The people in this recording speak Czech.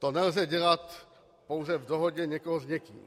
To nelze dělat pouze v dohodě někoho s někým.